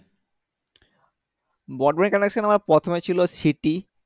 broadband connection আমার প্রথমে ছিল siti